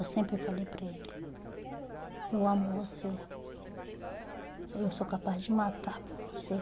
Eu sempre falei para ele, eu amo você, eu sou capaz de matar por você.